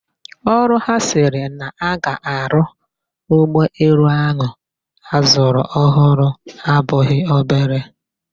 Ọrụ ha sịrị na-aga arụ ụgbọelu ahu azụrụ ọhụrụ abụghị obere.